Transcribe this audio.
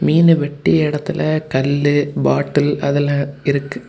மீனு வெட்டி இடத்துல கல்லு பாட்டில் அதெல்லா இருக்கு.